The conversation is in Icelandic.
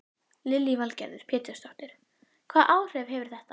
Lillý Valgerður Pétursdóttir: Hvaða áhrif hefur þetta?